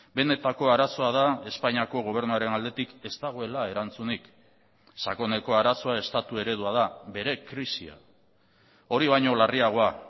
benetako arazoa da espainiako gobernuaren aldetik ez dagoela erantzunik sakoneko arazoa estatu eredua da bere krisia hori baino larriagoa